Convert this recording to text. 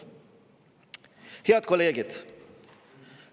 " Head kolleegid!